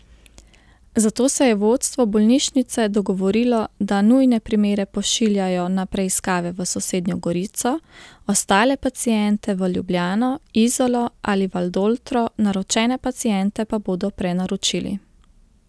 Zato se je vodstvo bolnišnice dogovorilo, da nujne primere pošiljajo na preiskave v sosednjo Gorico, ostale paciente v Ljubljano, Izolo ali Valdoltro, naročene paciente pa bodo prenaročili.